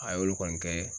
A y'olu kɔni kɛ